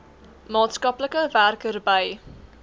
maatskaplike werker by